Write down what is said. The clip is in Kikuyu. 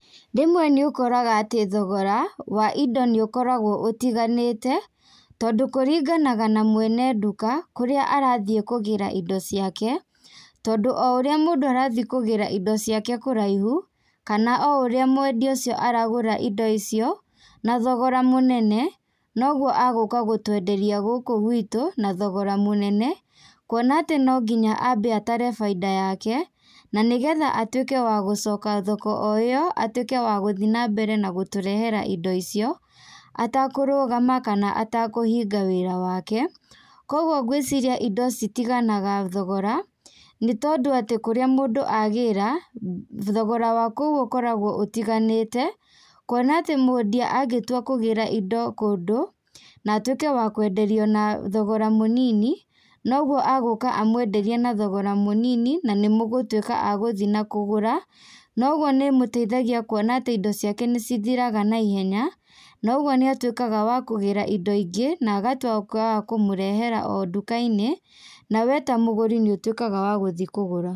Rĩmwe nĩũkoraga atĩ thogora, wa indo nĩũkoragwo ũtiganĩte, tondũ kũringanaga na mwene nduka, kũrĩa arathiĩ kũgĩra indo ciake, tondũ o ũrĩa mũndũ arathiĩ kũgĩra indo ciake kũraihu, kana o ũrĩa mwendia ũcio aragũra indo icio, na thogora mũnene, noguo agũka gũtwenderia gũkũ gwitũ na thogora mũnene, kuona atĩ nonginya ambe atare bainda yake, na nĩgetha atuĩke wa gũcoka thoko o ĩo, atuĩke wa gũthiĩ nambere na gũtũrehera indo icio, atakũrũgama kana atakũhinga wĩra wake, koguo ngwĩciria indo citiganaga thogora, nĩtondũ atĩ kũrĩa mũndũ agĩra, thogora wa kũu ũkoragwo ũtiganĩte, kuona atĩ mwendia angĩtua kũgĩra indo kũndũ, na atuĩke wa kwenderio na thogora mũnini, noguo agũka amwenderia na thogora mũnini, na nĩmũgũtuĩka a gũthiĩ na kũgũra, no ũguo nĩmũteithagia kuona atĩ indo ciake nĩcithiraga na ihenya, na ũguo nĩatuĩkaga wa kũgĩra indo ingĩ, na agatuĩka wa kũmũrehera o ndukainĩ, na we ta mũgũri nĩũtuĩkaga wa gũthiĩ kũgũra.